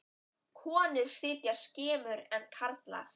Konur sitja skemur en karlar.